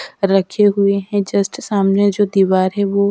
रखे हुए हैं जस्ट सामने जो दीवार है वो।